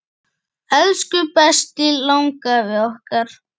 Elsku besti langafi okkar.